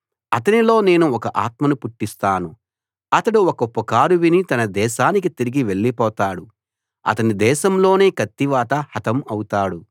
అతనిలో నేను ఒక ఆత్మను పుట్టిస్తాను అతడు ఒక పుకారు విని తన దేశానికి తిరిగి వెళ్ళిపోతాడు అతని దేశంలోనే కత్తివాత హతం అవుతాడు